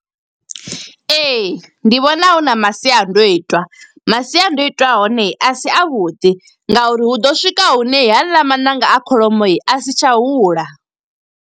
Ee, ndi vhona hu na masiandoitwa. Masiandoitwa a hone a si a vhuḓi, nga uri hu ḓo swika hune haeḽa maṋanga a kholomo a si tsha hula.